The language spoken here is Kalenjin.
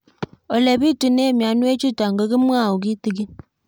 Ole pitune mionwek chutok ko kimwau kitig'ín